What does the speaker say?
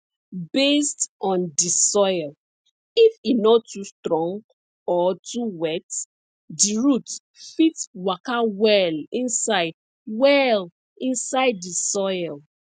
based on di soil if e nor too strong or too wet di roots fit waka well inside well inside di soil